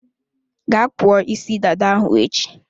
Gaa kpụọ isi dada ahụ echi!